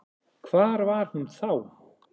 Hvar var hún þá?